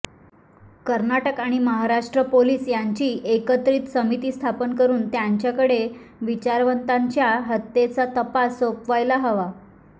कर्नाटक आणि महाराष्ट्र पोलिस यांची एकत्रित समिती स्थापन करून त्यांच्याकडे विचारवंतांच्या हत्येचा तपास सोपवायला हवा